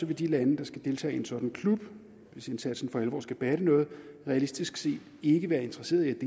vil de lande der skal deltage i en sådan klub hvis indsatsen for alvor skal batte noget realistisk set ikke være interesserede